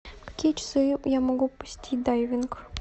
в какие часы я могу посетить дайвинг